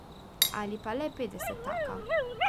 Ali pa le petdesetaka.